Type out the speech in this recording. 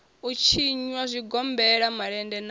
u tshinwa zwigombela malende na